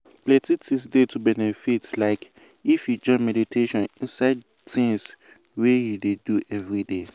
plenty things dey to benefit from like if you join meditation inside de tins wey you dey do everyday.